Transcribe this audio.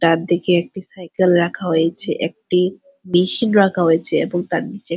তার দিকে একটি সাইকেল রাখা হয়েছে। একটি মিশিন রাখা হয়েছে এবং তার নিচে--